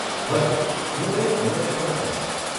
ભલે, હું એ અન્યોને પણ કહીશ.